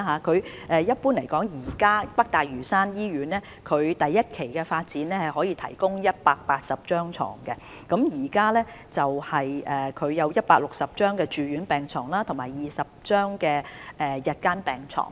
整體而言，北大嶼山醫院第一期發展可以提供180張病床，包括160張住院病床及20張日間病床。